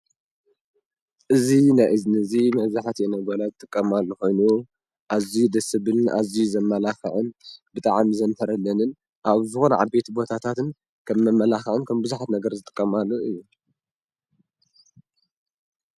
እዝ ናእዝኒ እዙ ምእዝሐት የነበላት ትቀማሉ ኾይኑ ኣዙይ ደስብን ኣዙይ ዘመላኽዕን ብጠዓም ዘንፈረለንን ኣብ ዝኾን ዓቤት ቦታታትን ከም መመላኽዕን ከም ብዙኃት ነገር ዝጥቀማሉ እየ።